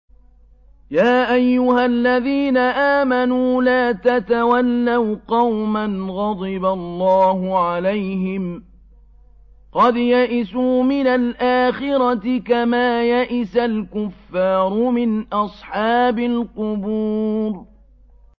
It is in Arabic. يَا أَيُّهَا الَّذِينَ آمَنُوا لَا تَتَوَلَّوْا قَوْمًا غَضِبَ اللَّهُ عَلَيْهِمْ قَدْ يَئِسُوا مِنَ الْآخِرَةِ كَمَا يَئِسَ الْكُفَّارُ مِنْ أَصْحَابِ الْقُبُورِ